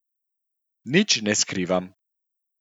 Nič ne skrivam.